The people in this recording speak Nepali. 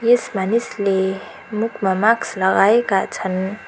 यस मानिसले मुखमा मास्क लगाएका छन्।